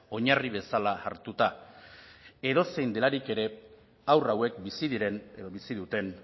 oinarri bezala hartuta edozein delarik ere haur hauek bizi diren edo bizi duten